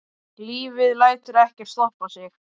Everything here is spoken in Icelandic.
Lífið lætur ekkert stoppa sig.